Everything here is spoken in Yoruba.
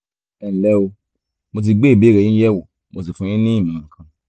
ẹnlẹ́ o mo ti gbé ìbéèrè yín yẹ̀wò mo sì fún yín ní ìmọ̀ràn kan